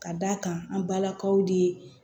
Ka d'a kan an balakaw de ye